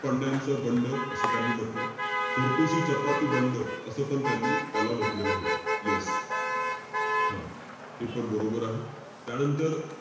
पंड्यांचं बंड, असं त्यांनी म्हंटल. फोर्तुशी चपाती बंड, असं पण त्यांनी त्याला म्हण्टलेलं होतं. Yes. हा. हे पण बरोबर आहे. त्यानंतर,